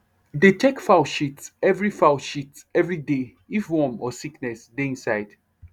dey check fowl shit every fowl shit every day if worm or any sickness dey inside